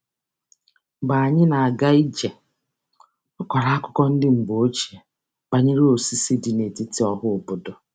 Mgbe anyị na-aga ije, ọ kọrọ akụkọ ndị mgbe ochie banyere osisi dị n'etiti ọhaobodo.